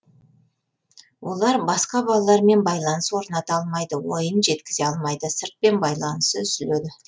олар басқа балалармен байланыс орната алмайды ойын жеткізе алмайды сыртпен байланысы үзіледі